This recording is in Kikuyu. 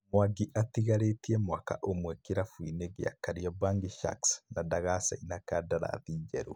Mwangi atigarĩtie mwaka ũmwe kĩrabu-inĩ gĩa Kariobangi Sharks, na ndagacaina kandarathi njerũ